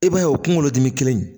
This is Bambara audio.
I b'a ye o kunkolo dimi kelen in